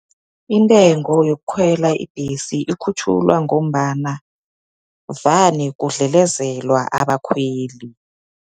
Intengo yokhwela ibhesi ikhutjhulwa, ngombana, vane kudlelezelwa abakhweli.